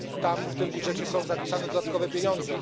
Tam, w tym budżecie są zapisane dodatkowe pieniądze.